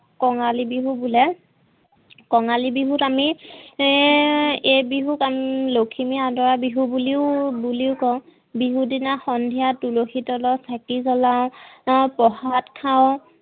কঙালী বিহু বোলে। কঙালী বিহুত আমি হম এই বিহুক আমি লখিমী আদৰা বিহু বুলিও বুলিও কও বিহুৰ দিনা সন্ধিয়া তুলসীৰ তলত চকী জলাও আৰু প্ৰসাদ খাও